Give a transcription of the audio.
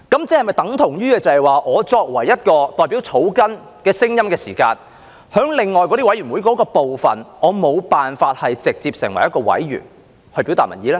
這安排等同我作為議員代表草根的聲音，我沒有辦法在另外那些委員會直接成為一名委員來表達民意。